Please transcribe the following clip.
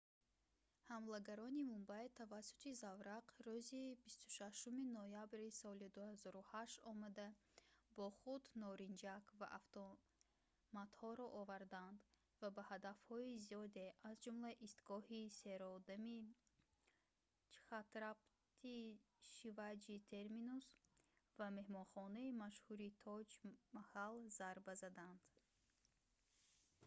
ҳамлагарони мумбай тавассути заврақ рӯзи 26-уми ноябри соли 2008 омада бо худ норинҷак ва автоматҳоро оварданд ва ба ҳадафҳои зиёде аз ҷумла истгоҳи серодами чҳатрапати шиваҷи терминус ва меҳмонхонаи машҳури тоҷ маҳал зарба заданд